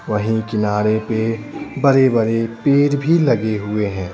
वहीं किनारे पे बड़े-बड़े पेर भी लगे हुए हैं।